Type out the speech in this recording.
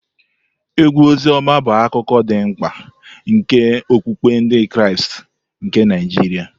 Egwu Oziọma bụ akụkụ dị mkpa nke okpukpe Ndị Kraịst nke Naijiria.